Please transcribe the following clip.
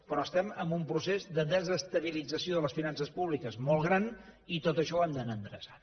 però estem en un procés de desestabilització de les finances públiques molt gran i tot això ho hem d’anar endreçant